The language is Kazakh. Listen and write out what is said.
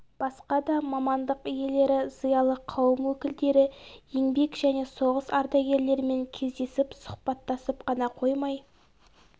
басқа да мамандық иелері зиялы қауым өкілдері еңбек және соғыс ардагерлерімен кездесіп сұхбаттасып қана қоймай